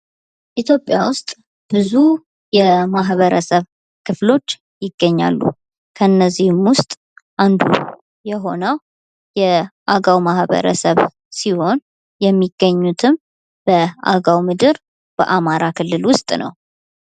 ኢትዮጵያ ውስጥ ብዙ የማህበረሰብ ክፍሎች ይገኛሉ ከነዚህም ውስጥ አንዱ የሆነው የአገው ማህበረሰብ ሲሆን የሚገኙትም በአገው ምድር በአማራ ክልል ውስጥ ነው።